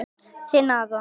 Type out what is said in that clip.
Þinn, Aron.